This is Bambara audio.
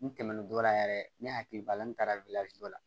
N tɛmɛn'o dɔ la yɛrɛ ne hakili b'a la n taara dɔ la